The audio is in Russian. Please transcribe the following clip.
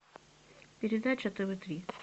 передача тв три